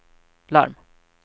larm